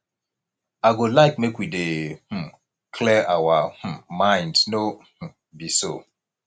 i go like make we dey um clear our um minds no um be so